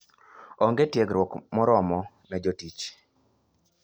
Onge tiegruok moromo ne jotich.